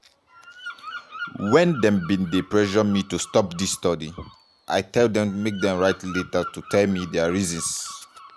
"wen dem bin dey pressure me to stop dis study i tell dem make dem write letter to tell me dia reasons.